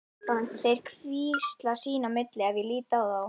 Þeir hvísla sín á milli ef ég lít á þá.